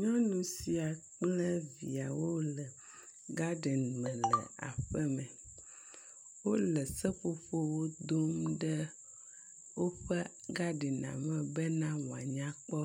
Nyɔnu sia kple viawo le gaden me le aƒeme. Wo le seƒoƒowo dom ɖe woƒe gadina me bena woanyakpɔ